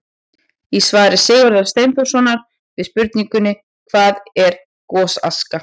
Í svari Sigurðar Steinþórssonar við spurningunni: Hvað er gosaska?